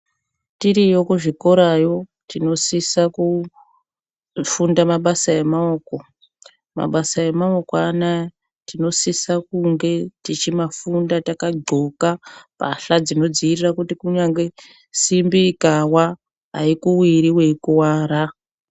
Tiriyo kuzvikorayo tinosisa kufunda mabasa emaoko. Mabasa emaoko anaya, tinosisa kumafunda takadhloka mbatya dzinodziirira kuti kunyangwe simbi ikawa, haikuwiri weikuwara.